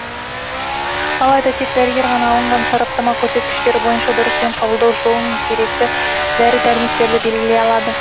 алайда тек дәрігер ғана алынған сараптама көрсеткіштері бойынша дұрыс ем қабылдау жолы мен керекті дәрі дәрмектерді белгілей алады